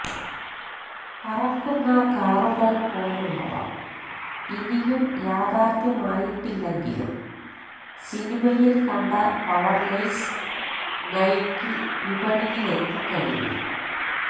പറക്കുന്ന കാറുകള് പോലുള്ളവ ഇനിയും യാഥാര്ത്ഥ്യമായിട്ടില്ലെങ്കിലും സിനിമയില് കണ്ട പവര് ലെയ്സ് നൈക്കി വിപണിയിലെത്തിച്ചുകഴിഞ്ഞു